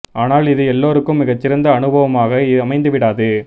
ஆனால் இது எல்லோருக்கும் மிகச் சிறந்த அனுபவமாக அமைந்து விடாது